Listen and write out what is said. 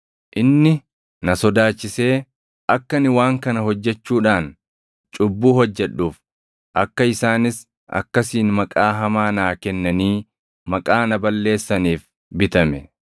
Inni na sodaachisee akka ani waan kana hojjechuudhaan cubbuu hojjedhuuf, akka isaanis akkasiin maqaa hamaa naa kennanii maqaa na balleessaniif bitame.